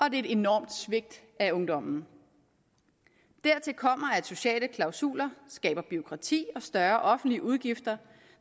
et enormt svigt af ungdommen dertil kommer at sociale klausuler skaber bureaukrati og større offentlige udgifter